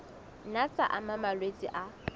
nna tsa ama malwetse a